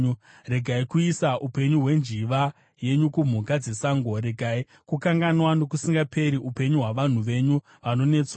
Regai kuisa upenyu hwenjiva yenyu kumhuka dzesango; regai kukanganwa nokusingaperi upenyu hwavanhu venyu vanonetswa.